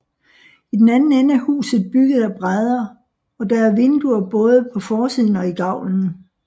I den anden ende er huset bygget af brædder og der er vinduer både på forsiden og i gavlen